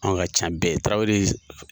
Anw ka ca bɛɛ ye, tarawele ye.